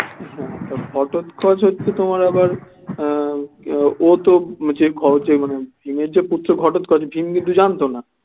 ঘটোৎকচ একটু তোমার আবার উম ও তো মানে ভীমের যে পুত্র ঘটোৎকচ ভীম কিন্তু জানতো না